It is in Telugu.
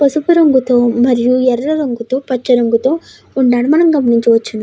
పసుపు రంగుతో మరియుఎరుపు రంగుతో పచ్చ రంగుతో ఉండడం మనం గమనించవచ్చు.